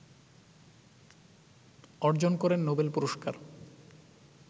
অর্জন করেন নোবেল পুরস্কার